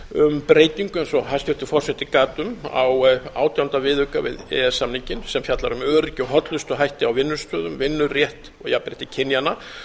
breytingu eins og hæstvirtur forseti gat um á átjánda viðauka við e e s samninginn sem fjallar um öryggi og hollustuhætti á vinnustöðum vinnurétt og jafnrétti kynjanna